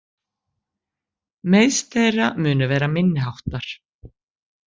Meiðsl þeirra munu vera minniháttar